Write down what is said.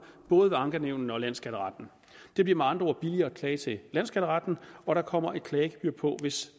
både ved ankenævnene og landsskatteretten det bliver med andre ord billigere at klage til landsskatteretten og der kommer et klagegebyr på hvis